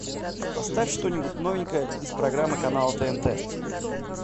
поставь что нибудь новенькое из программы канала тнт